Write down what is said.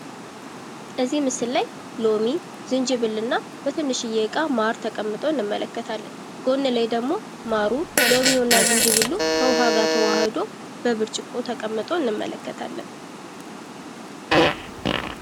በዚህ ምስል ላይ ሎሚ ዝንጅብል እና በትንሽዬ ዕቃ ማር ተቀምጦ እንመለከታለን። ጎን ላይ ደግሞ ማሩ ሎሚው እና ዝንጅብሉ ከዉሀ ጋር ተዋህዶ በብርጭቆ ተቀምጦ እንመለከታለን።